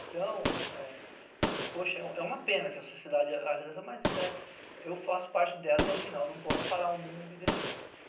Então, é poxa, é é uma pena que a sociedade... Mas eu faço parte dela e, afinal, não posso parar o mundo e descer.